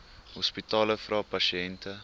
hospitale vra pasiënte